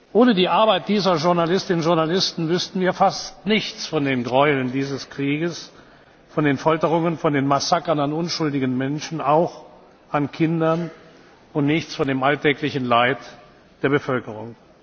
Ohne die Arbeit von Journalistinnen und Journalisten wüssten wir fast nichts von den Gräueln dieses Krieges, von den Folterungen, von den Massakern an unschuldigen Menschen, auch an Kindern, und nichts von dem alltäglichen Leid der Bevölkerung.